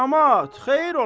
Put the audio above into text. Camaat, xeyir ola!